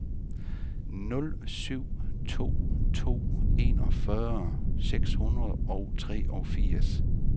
nul syv to to enogfyrre seks hundrede og treogfirs